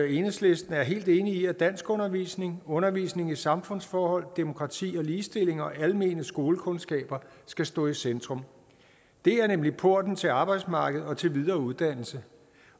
enhedslisten er helt enig i at danskundervisning undervisning i samfundsforhold demokrati og ligestilling og almene skolekundskaber skal stå i centrum det er nemlig porten til arbejdsmarkedet og til videre uddannelse